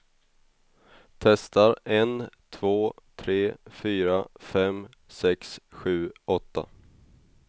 Testar en två tre fyra fem sex sju åtta.